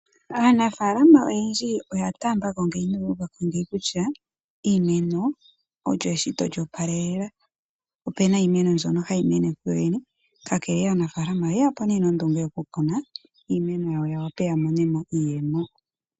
Aanafaalama oyendji oya taambako ngeyi noyu uva ko ngeyi kutya, iimeno olyo eshito olyo opalelela. Ope na iimeno mbyono ha yi mene kuyo yene, kakele wo aanafaalama oye ya po nondunge yoku kuna iimeno yawo, ya wape ya mone mo iiyemo.